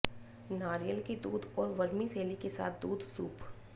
नारियल के दूध और वर्मीसेली के साथ दूध सूप